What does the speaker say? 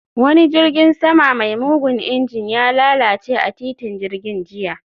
Wani jirgin sama mai mugun injin, ya lalace a titin jirgin jiya